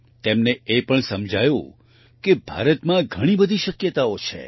તેમને એ પણ સમજાયું કે ભારતમાં ઘણી બધી શક્યતાઓ છે